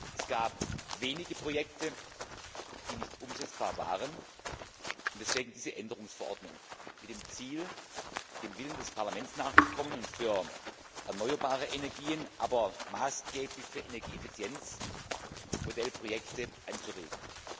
Es gab wenige Projekte, die nicht umsetzbar waren. Deswegen diese Änderungsverordnung mit dem Ziel, dem Willen des Parlaments nachzukommen und für erneuerbare Energien, aber maßgeblich für Energieeffizienz, Modellprojekte anzuregen.